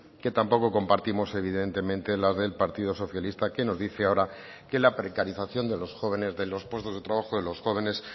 que tampoco compartimos evidentemente las del partido socialista que nos dice ahora que la precarización de los jóvenes de los puestos de trabajo de los jóvenes